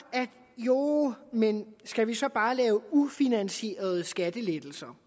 jo men skal vi så bare lave ufinansierede skattelettelser